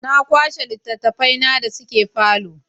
Na kwashe littattafaina da suke falo.